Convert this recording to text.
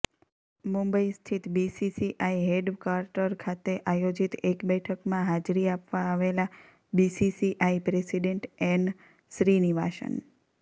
મુંબઇ સ્થિત BCCI headquarter ખાતે આયોજિત એક બેઠકમાં હાજરી આપવા આવેલા બીસીસીઆઇ પ્રેસિડેન્ટ એન શ્રિનિવાસન